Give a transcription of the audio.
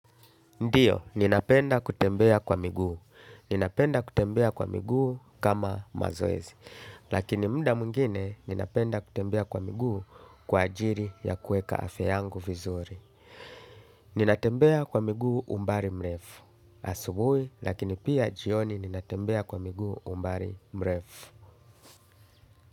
Ndio, ninapenda kutembea kwa miguu. Ninapenda kutembea kwa miguu kama mazoezi. Lakini muda mwingine ninapenda kutembea kwa miguu kwa ajili ya kuweka afya yangu vizuri. Ninatembea kwa miguu umbali mrefu. Asubuhi, lakini pia jioni ninatembea kwa miguu umbali mrefu.